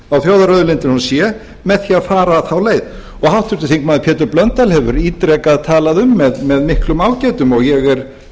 á þjóðarauðlindunum sé með því að fara þá leið og háttvirtur þingmaður pétur blöndal hefur ítrekað talað um með miklum ágætum og ég er